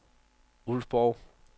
Ulfborg